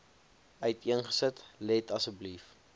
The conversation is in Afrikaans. uiteengesit let asseblief